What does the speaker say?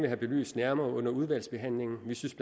have belyst nærmere under udvalgsbehandlingen vi synes